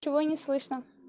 чего не слышно